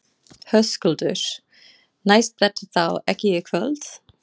Höskuldur: Næst þetta þá ekki í kvöld?